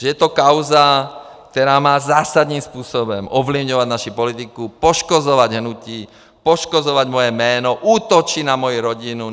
Že je to kauza, která má zásadním způsobem ovlivňovat naši politiku, poškozovat hnutí, poškozovat moje jméno, útočit na moji rodinu.